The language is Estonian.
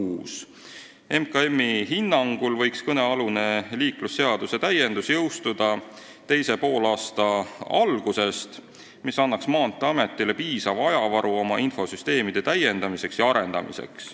Majandus- ja Kommunikatsiooniministeeriumi hinnangul võiks kõnealune liiklusseaduse täiendus jõustuda teise poolaasta algusest, mis annaks Maanteeametile piisava ajavaru oma infosüsteemide arendamiseks ja täiendamiseks.